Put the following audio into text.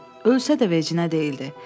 Ölsə də vecində deyildi.